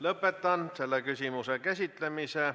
Lõpetan selle küsimuse käsitlemise.